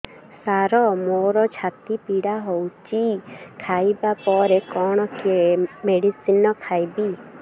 ସାର ମୋର ଛାତି ପୀଡା ହଉଚି ଖାଇବା ପରେ କଣ ମେଡିସିନ ଖାଇବି